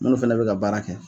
Munnu fɛnɛ be ka baara kɛ.